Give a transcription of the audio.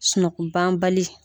Sunɔgɔbanbali.